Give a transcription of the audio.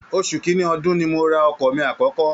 Oṣù kìnní ọdun ni mo ra ọkọ̀ mí àkọ́kọ́